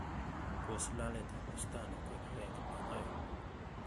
pos lalet ab bustani koik agenge en oeng